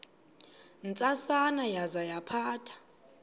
ntsasana yaza yaphatha